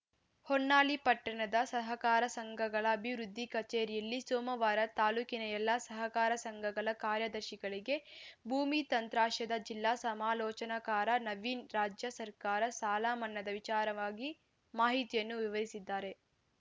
ಹೊನ್ನಾಳಿಃ ಪಟ್ಟಣದ ಸಹಕಾರ ಸಂಘಗಳ ಅಭಿವೃದ್ದಿ ಕಚೇರಿಯಲ್ಲಿ ಸೋಮವಾರ ತಾಲೂಕಿನ ಎಲ್ಲಾ ಸಹಕಾರ ಸಂಘಗಳ ಕಾರ್ಯದರ್ಶಿಗಳಿಗೆ ಭೂಮಿ ತತ್ರಾಂಶದ ಜಿಲ್ಲಾ ಸಮಾಲೋಚನಕಾರ ನವೀನ್‌ ರಾಜ್ಯ ಸರ್ಕಾರ ಸಾಲ ಮನ್ನದ ವಿಚಾರವಾಗಿ ಮಾಹಿತಿಯನ್ನು ವಿವರಿಸಿದ್ದಾರೆ